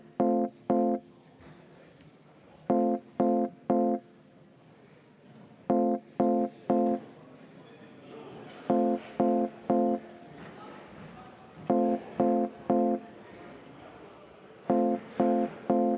Aitäh, lugupeetud juhataja!